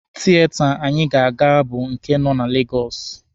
Tieta anyị ga-aga bụ nke nọ na Legọsụ.